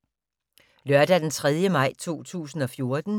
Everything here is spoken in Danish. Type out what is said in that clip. Lørdag d. 3. maj 2014